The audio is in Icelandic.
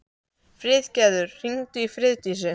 Friðgerður, hringdu í Friðdísi.